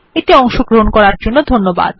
এতে অংশগ্রহন করার জন্য ধন্যবাদ